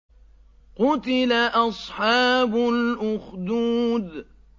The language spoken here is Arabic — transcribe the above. قُتِلَ أَصْحَابُ الْأُخْدُودِ